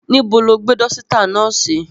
Nibo lo gbe dọsita náà si?